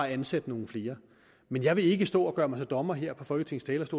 ansætte nogle flere men jeg vil ikke stå og gøre mig til dommer her på folketingets